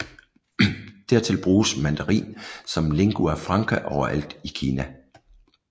Dertil bruges mandarin som lingua franca overalt i Kina